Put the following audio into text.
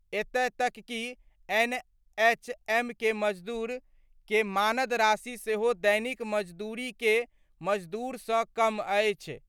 एतय तक कि एनएचएम के मजदूर के मानद राशि सेहो दैनिक मजदूरी के मजदूर सं कम अछि।